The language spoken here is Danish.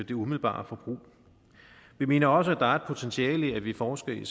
det umiddelbare forbrug vi mener også der er et potentiale i at vi forsker i